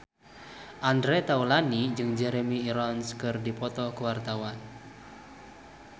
Andre Taulany jeung Jeremy Irons keur dipoto ku wartawan